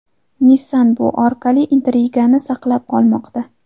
Nissan bu orqali intrigani saqlab qolmoqda.